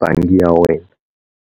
bangi ya wena.